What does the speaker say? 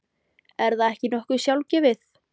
Er það ekki nokkuð sjálfgefið?